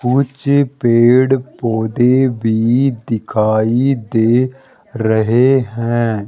कुछ पेड़ पौधे भी दिखाई दे रहे है।